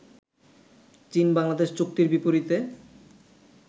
চীন-বাংলাদেশ চুক্তির বিপরীতে